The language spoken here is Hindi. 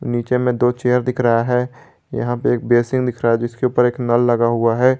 नीचे में दो चेयर दिख रहा है यहां पे एक बेसिन दिख रहा है जिसके ऊपर एक नल लगा हुआ है।